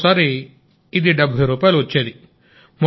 ఒక్కోసారి ఇది 70 రూపాయలు వస్తోంది